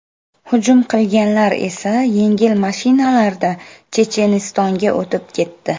Hujum qilganlar esa yengil mashinalarda Chechenistonga o‘tib ketdi.